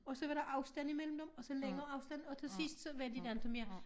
Og så var der afstand imellem dem og så længere afstand og til sidst var der inte mere